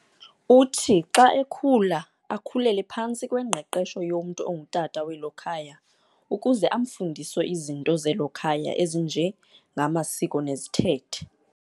Uthi xa ekhula akhulele phantsi kwengqeqesho yomntu ongutata welo khaya ukuze amfundise izinto zelo khaya ezinjengamasiko nezithethe.